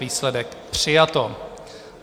Výsledek: přijato.